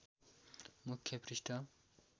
मुख्य पृष्ठ